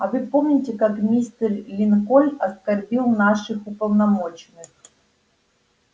а вы помните как мистер линкольн оскорбил наших уполномоченных